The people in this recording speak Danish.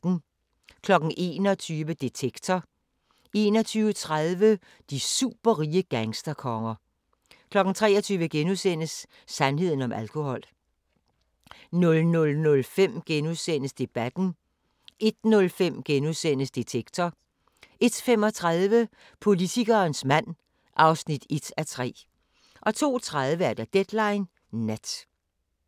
21:00: Detektor 21:30: De superrige gangsterkonger 23:00: Sandheden om alkohol * 00:05: Debatten * 01:05: Detektor * 01:35: Politikerens mand (1:3) 02:30: Deadline Nat